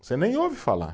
Você nem ouve falar.